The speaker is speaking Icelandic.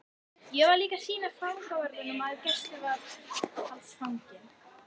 Ég var líka að sýna fangavörðunum að gæsluvarðhaldsfanginn